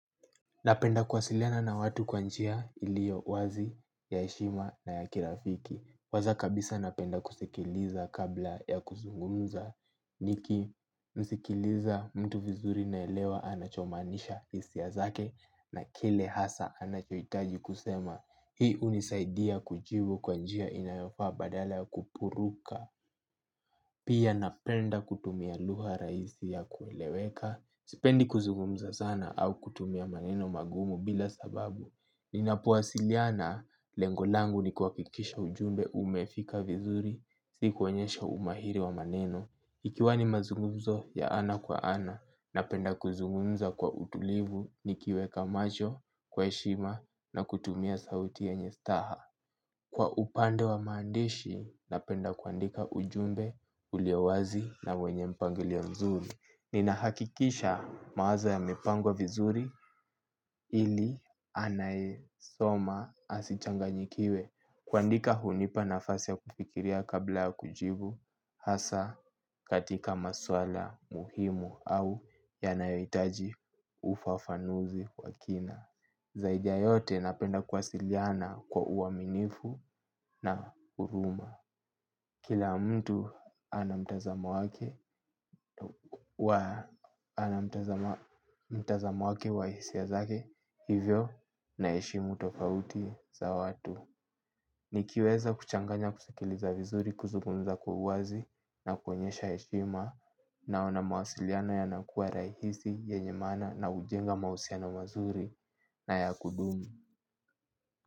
Napenda kuwasiliana na watu kwa njia iliyo wazi ya heshima na ya kirafiki kwanza kabisa napenda kusikiliza kabla ya kuzungumza. Nikimsikiliza mtu vizuri naelewa anachomaanisha hisia zake na kile hasa anachohitaji kusema. Hii hunisaidia kujibu kwa njia inayofaa badala ya kupuruka. Pia napenda kutumia lugha rahisi ya kueleweka. Sipendi kuzungumza sana au kutumia maneno magumu bila sababu ninapowasiliana lengo langu ni kuhakikisha ujumbe umefika vizuri si kuonyesha umahiri wa maneno. Ikiwa ni mazungumzo ya ana kwa ana, napenda kuzungumza kwa utulivu nikiweka macho kwa shima na kutumia sauti yenye staha. Kwa upande wa maandishi, napenda kuandika ujumbe ulio wazi na wenye mpangilio mzuri. Ninahakikisha mawazo yamepangwa vizuri ili anayesoma asichanganyikiwe. Kuandika hunipa nafasi ya kufikiria kabla ya kujibu. Hasa katika maswala muhimu au yanayohitaji ufafanuzi kwa kina. Zaidi ya yote napenda kuwasiliana kwa uaminifu na huruma. Kila mtu anamtazamo wake wa hisia zake, hivyo naheshimu tofauti za watu. Nikiweza kuchanganya kusikiliza vizuri, kuzugunza kwa uwazi na kuonyesha heshima naona mawasiliano yanakua rahisi yenye maana na hujenga mahusiano mazuri na ya kudumu.